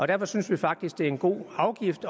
derfor synes vi faktisk det er en god afgift